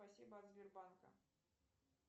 спасибо от сбербанка